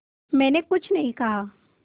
मैंने कुछ नहीं कहा